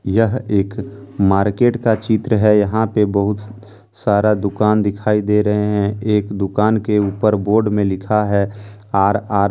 यह एक मार्केट का चित्र है। यहाँ पे बहुत सारा दुकान दिखाई दे रहे है। एक दुकान के ऊपर बोर्ड में लिखा है आर आर ।